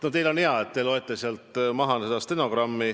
No teil on ka hea, te loete sealt stenogrammi tekstist maha.